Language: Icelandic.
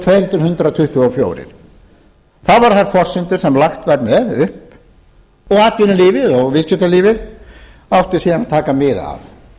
til hundrað tuttugu og fjögur það voru þær forsendur sem lagt var upp með og atvinnulífið og viðskiptalífið áttu síðan að taka mið af